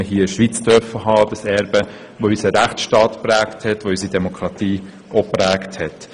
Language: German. Dieses Erbe, das unseren Rechtsstaat und unsere Demokratie geprägt hat.